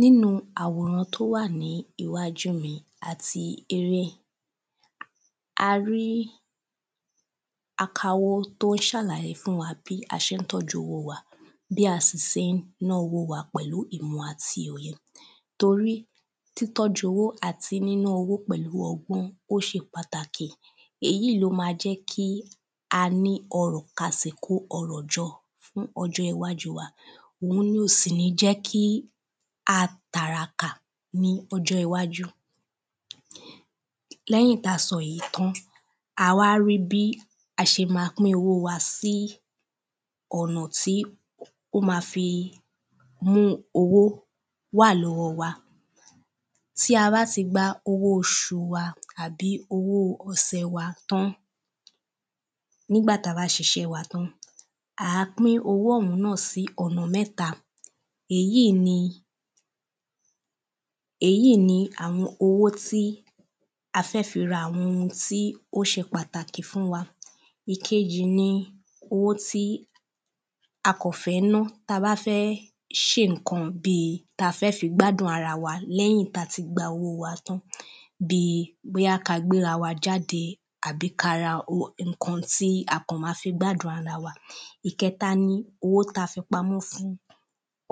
nínu àwòrán tó wà ní íwájú mi àti ire a rí akawó tó ń ṣàlàyé fún wa bí a ṣé ń tọ́ju owó wa bí a sì sé ń ná owó wa pẹ̀lú ìmọ̀ àti òye tori tí tọ́jú owó àti níná owó pẹ̀lú ọgbọ́n ó ṣe pàtàkì èyí ló ma jẹ́ kí a ní ọrọ̀ a sì kó ọrọ̀ jọ fún ọjọ́ iwájú wa òun ni ò sì ní jẹ́ kí atàràkà ní ọjọ́ iwájú lẹ́yìn ta sọ̀ yí tán a wá rí bí a ṣe ma pín owó wa sí ọ̀nà tí ó ma fi mú owó wà lọ́wọ́ wa tí a bá ti gba owó oṣù wa àbí owó ọsẹ̀ wa tán nígbà ta bá ṣiṣẹ́ wa tán àá pín owó òun náà sí ọ̀nà mẹ́ta èyí ni èyí ni àwọn owó tí a fẹ́ fi ra àwọn ohun tí ó ṣe pàtàkì fún wa ìkejì ni owó tí a kọ̀ fẹ́ ná ta bá fẹ́ ṣé ǹkan bíi ta fẹ́ fi gbádùn ara wa léyìn ta ti gba owó wa tán bi bóya ka gbéra wa jáde àbí kara ǹkan ti a kọ̀ ma fi gbádùn ara wa ìkẹta ni owó ta fi pamọ́ fún